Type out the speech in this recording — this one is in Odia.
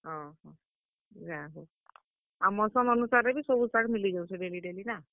ଓହୋ, ଯାହଉ, ଆଉ ମୌସମ୍ ଅନୁସାରେ ବି ସବୁ ଶାଗ୍ ମିଲିଯାଉଛେ daily daily ନା?